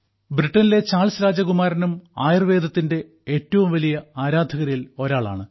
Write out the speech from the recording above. ബ്രിട്ടനിലെ ചാൾസ് രാജകുമാരനും ആയുർവേദത്തിന്റെ ഏറ്റവും വലിയ ആരാധകരിൽ ഒരാളാണ്